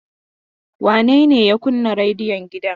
Wane ne ya kunna rediyon gidan?